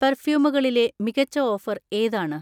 പെർഫ്യുമുകളിലെ മികച്ച ഓഫർ ഏതാണ്?